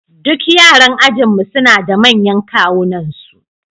Duk yaran ajinmu suna da manyan kawunansu